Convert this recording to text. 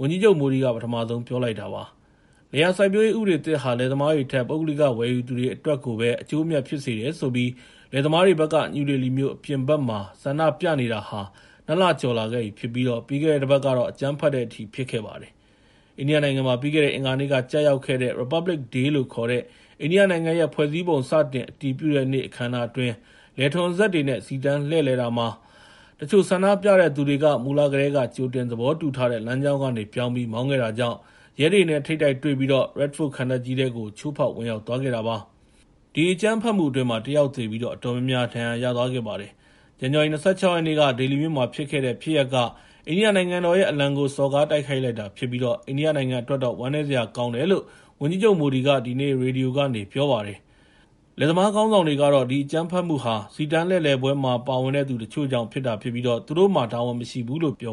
ဝန်ကြီးချုပ် Modi က ပထမဆုံး ပြောကြားလိုက်တာ ဖြစ်ပါတယ်။ လယ်ယာစိုက်ပျိုးရေး ဥပဒေသစ်ဟာ လယ်သမားတွေထက် ပုဂ္ဂလိက ဝယ်ယူသူတွေ အတွက်ကိုပဲ အကျိုးအမြတ် ဖြစ်စေတယ်ဆိုပြီး လယ်သမားတွေဘက်က နယူးဒေလီမြို့ အပြင်ဘက်မှာ ဆန္ဒပြနေတာဟာ ၂ လကျော်လာခဲ့ပြီဖြစ်ပြီး ပြီးခဲ့တဲ့တပတ်ကတော့ အကြမ်းဖက်တဲ့အထိ ဖြစ်ခဲ့ပါတယ်။ အိန္ဒိယနိုင်ငံမှာ ပြီးခဲ့တဲ့ အင်္ဂါနေ့က ကျရောက်တဲ့ Republic Day လို့ခေါ်တဲ့ အိန္ဒိယနိုင်ငံရဲ့ ဖွဲ့စည်းပုံ စတင်အတည်ပြုတဲ့နေ့ အခမ်းအနားအတွင်း လယ်ထွန်စက်တွေနဲ့ စီတန်းလှည့်လည်တာမှာ တချို့ဆန္ဒပြတဲ့သူတွေက မူလကတည်းက ကြိုတင်သဘောတူထားတဲ့ လမ်းကြောင်းကနေပြောင်းပြီး မောင်းခဲ့တာကြောင့် ရဲတွေနဲ့ ထိပ်တိုက်တွေ့ပြီး Red Fort ခံတပ်ကြီးထဲကို ချိုးဖောက်ဝင်ရောက်သွားခဲ့တာပါ။ အဲဒီဆန္ဒပြမှုကြောင့် ၁ ယောက်သေပြီး အတော်များများ ဒဏ်ရာရသွားခဲ့ပါတယ်။ ဇန်နဝါရီ ၂၆ ရက်နေ့က ဒေလီမြို့မှာဖြစ်ခဲ့တဲ့ ဒီဖြစ်ရပ်က အိန္ဒိယနိုင်ငံတော်ရဲ့ အလံကို စော်ကားတိုက်ခိုက်တာဖြစ်ပြီး အိန္ဒိယနိုင်ငံအတွက်တော့ ဝမ်းနည်းစရာ ကောင်းတယ်လို့ ဝန်ကြီးချုပ် Modi က ရေဒီယိုကနေ ဒီနေ့ ပြောလိုက်ပါတယ်။ လယ်သမားခေါင်းဆောင်တွေကတော့ ဒီအကြမ်းဖက်မှုဟာ စီတန်းလှည့်လည်ပွဲမှာ ပါဝင်တဲ့သူ တချို့ကြောင့် ဖြစ်တာဖြစ်ပြီး သူတို့မှာ တာဝန်မရှိဘူးလို့ ပြော